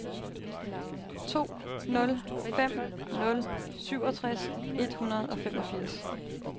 to nul fem nul syvogtres et hundrede og femogfirs